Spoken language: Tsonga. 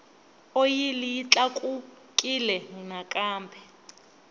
oyili yi tlakukile nakambe